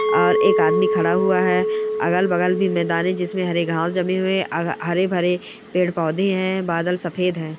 और एक आदमी खड़ा हुआ है। अगल-बगल भी मैदान है जिसमें हरे घाँव् जमे हुए अग हरे-भरे पेड़-पौधे हैं बादल सफ़ेद हैं।